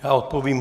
Já odpovím.